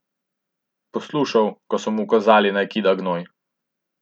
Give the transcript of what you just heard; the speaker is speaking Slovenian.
Poslušal, ko so mu ukazali, naj kida gnoj.